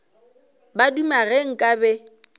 ba duma ge nka be